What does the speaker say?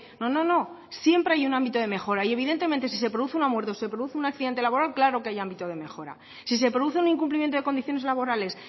no no no siempre hay un ámbito de mejora y evidentemente si se produce una muerte o se produce un accidente laboral claro que hay ámbito de mejora si se produce un incumplimiento de condiciones laborales